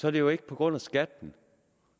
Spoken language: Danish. er det jo ikke på grund af skatten